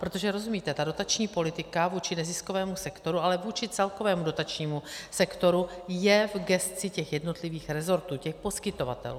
Protože rozumíte, ta dotační politika vůči neziskovému sektoru, ale vůči celkovému dotačnímu sektoru, je v gesci těch jednotlivých resortů, těch poskytovatelů.